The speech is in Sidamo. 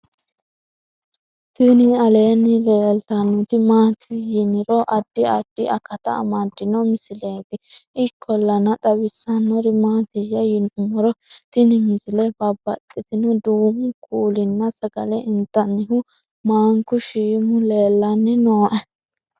tini aleenni leeltannoti maati yiniro addi addi akata amaddino misileeti ikkollana xawissannori maatiyya yinummoro tini misile babaxino duumu kuulinna sagale intannihu maanku shiimu leellanni nooe